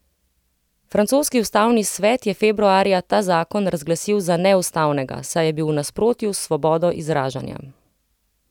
Francoski ustavni svet je februarja ta zakon razglasil za neustavnega, saj je bil v nasprotju s svobodo izražanja.